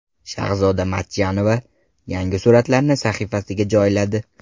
Shahzoda Matchonova yangi suratlarini sahifasiga joyladi.